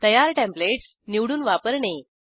तयार टेंप्लेटस निवडून वापरणे